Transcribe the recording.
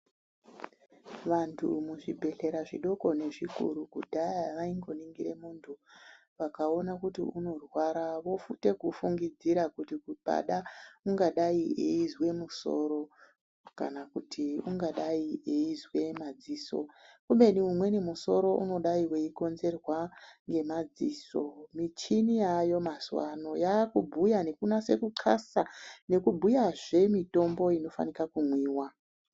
Vantu muzvibhehlera zvidoko nezvikuru kudhaya vaingoningire muntu. Vakaona kuti unorwara voite kufungidzira kuti pangada ungadai eyizwa musoro kana kuti ungadai eyizwa madziso. Kubeni imweni musoro ungadai weikonzerwa ngemadziso. Michini yaayo mazuwano yakubhuya nekunaza kuxasa nekubhuyazve mutombo inofana kumwiwa.